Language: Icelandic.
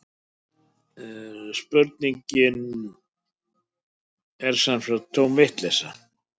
Spurningin er sem sagt tóm vitleysa